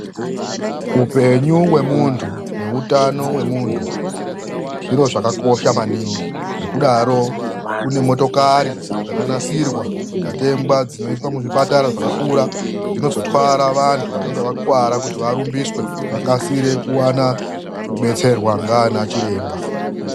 Upenyu wemuntu neutano wemuntu zviro zvakakosha maningi. Ngekudaro kune motokari dzakanasirwa nekutengwa dzinoiswa muzvipatara zvakakura dzinozotwara vandu vanenge vakuwara kuti vakasire kudetserwa ngaana chiremba